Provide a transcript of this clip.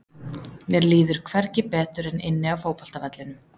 Mér líður hvergi betur en inni á fótboltavellinum.